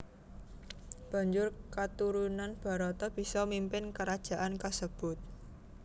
Banjur katurunan Barata bisa mimpin krajaan kasebut